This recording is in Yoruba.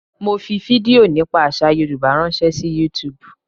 Mo fi fídíò nípa àsà Yorùbá ránṣẹ́ sí YouTube.